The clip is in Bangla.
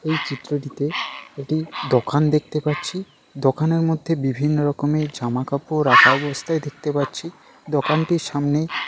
এই চিত্রটিতে একটি দোকান দেখতে পাচ্ছি। দোকানের মধ্যে বিভিন্ন রকমের জামা কাপড় রাখা অবস্থায় দেখতে পাচ্ছি। দোকানটির সামনে --